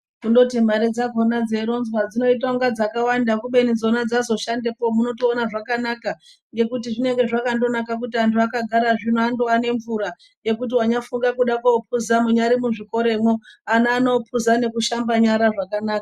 Kundoti mare dzakhona dzeironzwa dzinoita inga dzakawanda kubeni dzona dzazoshandepo munotoona zvakanaka ngekuti zvinenge zvakandonaka zvino kuti vandova nemvura ngekuti wandofunga kude kopuza munyari muzvikoramwo ana anopuza nekushamba nyara zvakanaka.